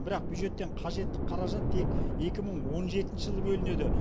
бірақ бюджеттен қажетті қаражат тек екі мың он жетінші жылы бөлінеді